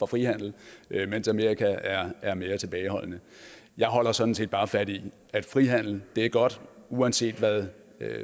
frihandel mens amerika er er mere tilbageholdende jeg holder sådan set bare fast i at frihandel er godt uanset hvad